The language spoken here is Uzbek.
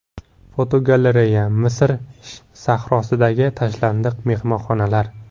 Fotogalereya: Misr sahrosidagi tashlandiq mehmonxonalar.